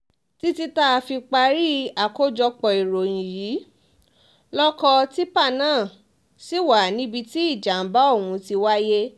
títí táa fi parí àkójọpọ̀ ìròyìn yìí lọkọ̀ tìpá náà ṣì wà níbi tí ìjàmbá ọ̀hún ti wáyé